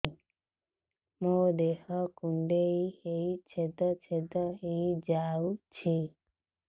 ମୋ ଦେହ କୁଣ୍ଡେଇ ହେଇ ଛେଦ ଛେଦ ହେଇ ଯାଉଛି